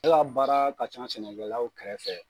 E ka baara ka ca sɛnɛkɛlaw kɛrɛfɛ.